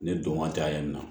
Ne don waati la yen nɔ